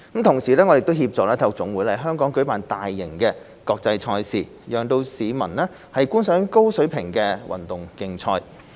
同時，我們協助體育總會在香港舉辦大型國際賽事，讓市民觀賞高水平的運動競賽。